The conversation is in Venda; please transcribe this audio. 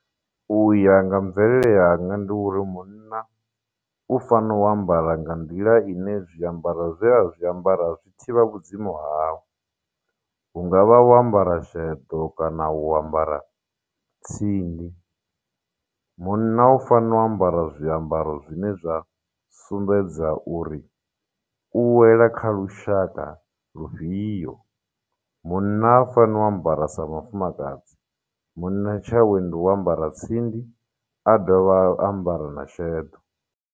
Uya nga mvelele yanga ndi uri munna u fanela u ambara nga nḓila ine zwiambara zwe a zwiambaro zwi thivha vhudzimu hau hungavha u ambara sheḓo kana u ambara tsindi munna u fanela u ambara zwiambaro zwine zwa sumbedza uri u wela kha lushaka lufhio munna ha faneli u ambara sa mufumakadzi munna tshawe ndi u ambara tsindi a dovha a ambara na sheḓo.